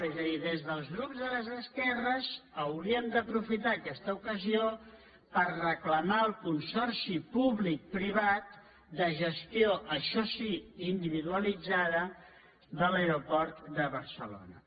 és a dir des dels grups de les esquerres hauríem d’aprofitar aquesta ocasió per reclamar el consorci públic privat de gestió això sí individualitzada de l’aeroport de barcelona